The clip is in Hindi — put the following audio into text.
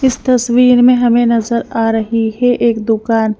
इस तस्वीर में हमें नजर आ रही है एक दुकान--